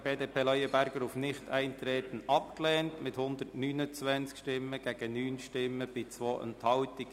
Sie haben den Antrag BDP/Leuenberger auf Nichteintreten abgelehnt mit 129 gegen 9 Stimmen bei 2 Enthaltungen.